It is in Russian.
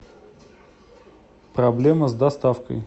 проблема с доставкой